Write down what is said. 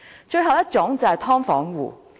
最後一種人是"劏房"戶。